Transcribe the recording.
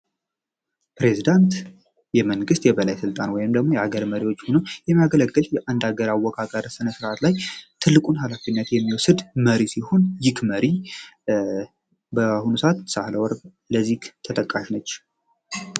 ፕሬዝዳንት የመንግት የበላይ ስልጣን ወይም ደግሞ የአገር መሪዎች የማገለግል የአንድ አገር አወቃቀር ነ ርዓት ላይ ትልቁን ኃላፊነት የሚወስድ መሪ ሲሁን ተጠቃሽ ነች